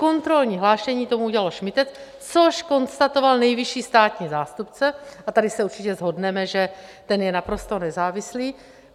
Kontrolní hlášení tomu udělalo šmytec, což konstatoval nejvyšší státní zástupce, a tady se určitě shodneme, že ten je naprosto nezávislý.